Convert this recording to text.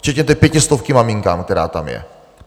Včetně té pětistovky maminkám, která tam je.